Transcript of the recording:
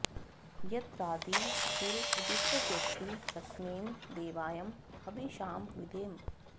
यत्राधि॒ सूर॒ उदि॑तौ॒ व्येति॒ कस्मै॑ दे॒वाय॑ ह॒विषा॑ विधेम